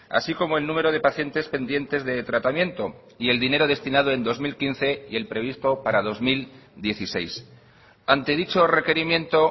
así como el número de pacientes pendientes de tratamiento y el dinero destinado en dos mil quince y el previsto para dos mil dieciséis ante dicho requerimiento